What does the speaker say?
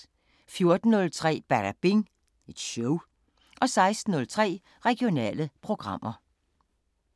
14:03: Badabing Show 16:03: Regionale programmer